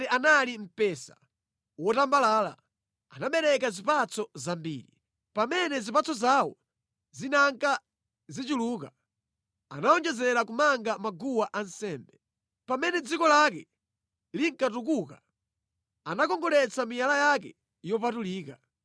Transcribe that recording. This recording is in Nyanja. Israeli anali mpesa wotambalala; anabereka zipatso zambiri. Pamene zipatso zawo zinanka zichuluka, anawonjezera kumanga maguwa ansembe. Pamene dziko lake linkatukuka, anakongoletsa miyala yake yopatulika.